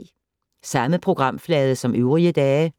Samme programflade som øvrige dage